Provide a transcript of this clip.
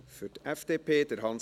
Ich mache es sicher kurz.